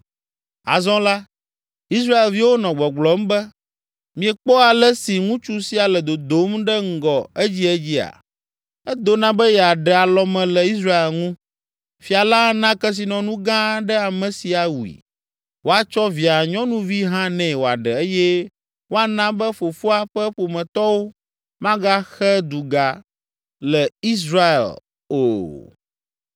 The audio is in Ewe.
Azɔ la, Israelviwo nɔ gbɔgblɔm be, “Miekpɔ ale si ŋutsu sia le dodom ɖe ŋgɔ edziedzia? Edona be yeaɖe alɔme le Israel ŋu. Fia la ana kesinɔnu gã aɖe ame si awui, woatsɔ via nyɔnuvi hã nɛ wòaɖe eye woana be fofoa ƒe ƒometɔwo magaxe duga le Israel o.”